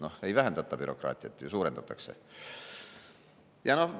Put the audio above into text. No ei vähendata bürokraatiat ju, suurendatakse!